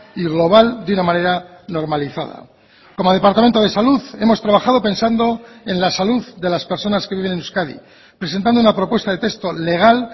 y global de una manera normalizada como departamento de salud hemos trabajado pensando en la salud de las personas que viven en euskadi presentando una propuesta de texto legal